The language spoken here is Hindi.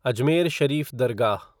अजमेर शरीफ़ दरगाह